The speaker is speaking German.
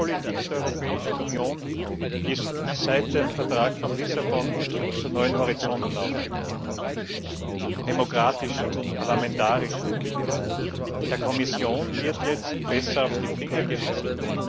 Die Handelspolitik der Europäischen Union ist seit dem Vertrag von Lissabon zu neuen Horizonten aufgebrochen demokratischer, parlamentarischer. Der Kommission wird jetzt besser auf die Finger geschaut.